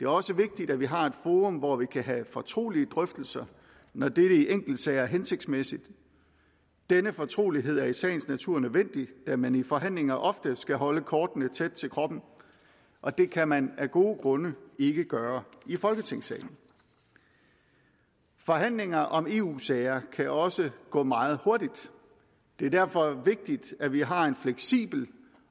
også vigtigt at vi har et forum hvor vi kan have fortrolige drøftelser når dette i enkeltsager er hensigtsmæssigt denne fortrolighed er i sagens natur nødvendig da man i forhandlinger ofte skal holde kortene tæt til kroppen og det kan man af gode grunde ikke gøre i folketingssalen forhandlinger om eu sager kan også gå meget hurtigt det er derfor vigtigt at vi har en fleksibel